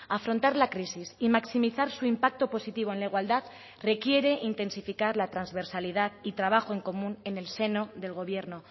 afrontar la crisis y maximizar su impacto positivo en la igualdad requiere intensificar la transversalidad y trabajo en común en el seno del gobierno